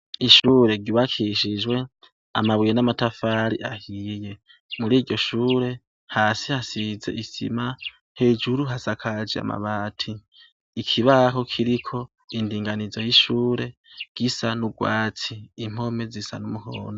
Ishure ry’ubakishijwe amabuye n’amatafari ahiye, muriryo shure, hasi hasize isima, hejuru hasakaje amabati. Ikibaho kiriko indinganizo y’ishure, gisa n’ugwatsi. Impome zisa n’umuhondo.